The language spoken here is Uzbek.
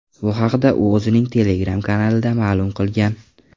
Bu haqda u o‘zining Telegram kanalida ma’lum qilgan .